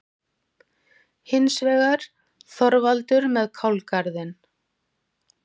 Hins vegar: Þorvaldur með kálgarðinn.